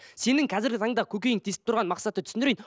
сенің қазіргі таңда көкейіңді тесіп тұрған мақсатты түсіндірейін